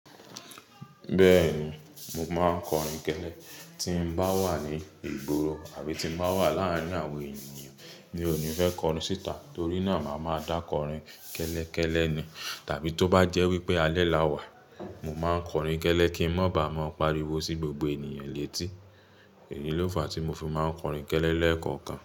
Bẹ́ẹ̀ni, mo máa ń kọrin kẹ́lẹ́ tí bá wà ní ìgboro àbí tí bá wà láàárín àwọn ènìyàn ni ó ní fẹ́ kọrin síta. Torí náà la máa ń dá kọrin kẹ́lẹ́ kẹ́lẹ́ ni. Tàbí tó bá jẹ́ wípé alẹ́ la wà, mo máa ń kọrin kẹ́lẹ́ kí ń má bàa máa pariwo sí gbogbo ènìyàn létí. Èyí ló fàá tí mo fi máa ń kọrin kẹ́lẹ́ lẹ́ẹ̀kọ̀kan.